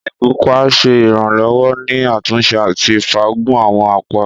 Ìgúpá ṣe iranlọwọ ni atunse ati faagun awọn apa.